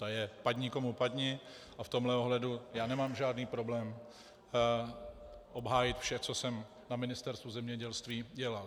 To je padni komu padni a v tomto ohledu já nemám žádný problém obhájit vše, co jsem na Ministerstvu zemědělství dělal.